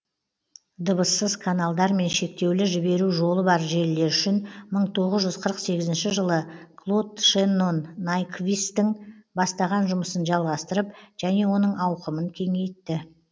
дыбыссыз каналдар мен шектеулі жіберу жолы бар желілер үшін мың тоғыз жүз қырық сегізінші жылы клод шеннон найквисттің бастаған жұмысын жалғастырып және оның ауқымын кеңейтті